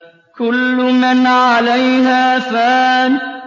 كُلُّ مَنْ عَلَيْهَا فَانٍ